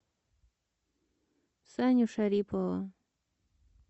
саню шарипова